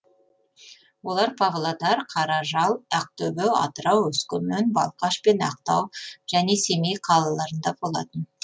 олар павлодар қаражал ақтөбе атырау өскемен балқаш пен ақтау және семей қалаларында болатын